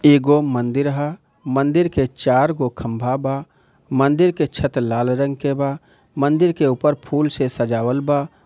एक मंदिर है मंदिर के चार को खम्बाबा मंदिर के छत लाल रंग के बा मंदिर के उपर फूल से सजावल बा।